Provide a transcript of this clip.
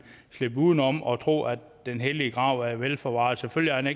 slippe udenom og tro at den hellige grav er velforvaret selvfølgelig